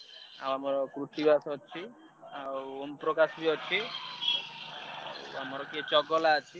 ଆମର କୃତିବାସ ଅଛି ଆଉ ଓମପ୍ରକାଶ ବି ଅଛି ଆଉ ଆମର କିଏ ଚଗଲା ଅଛି।